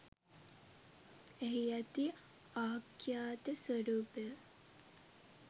එහි ඇති ආඛ්‍යාත ස්වරූපය